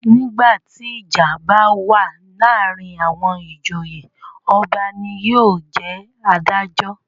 Nígbà tí ìjà bá wà láàárin àwọn ìjòyè. Ọba ni yóò jẹ́ adájọ́.